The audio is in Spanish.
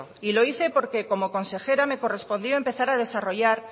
y lo hice porque como consejera me correspondió a empezar a desarrollar